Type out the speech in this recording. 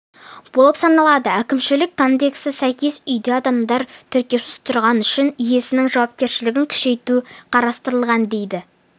болып саналады әкімшілік кодекске сәйкес үйде адамдар тіркеусіз тұрғаны үшін иесінің жауапкершілігін күшейту қарастырылған дейді